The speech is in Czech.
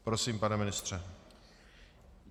Prosím, pane ministře.